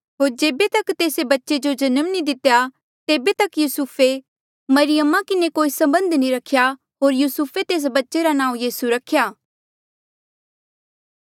होर जेबे तक तेस्से बच्चे जो जन्म नी दितेया तेबे तक युसुफे मरियमा किन्हें कोई सबंध नी रख्या होर युसुफे तेस बच्चे रा नांऊँ यीसू रख्या